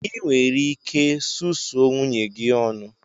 Ị nwere ike susuo nwunye gi ọnụ!